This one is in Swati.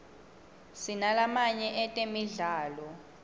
sinalamaye etemidlalo